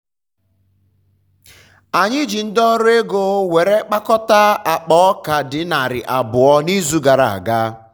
anyị ji ndi ọrụ ego were kpakọta akpa ọka di narị abụọ n'izu gara aga.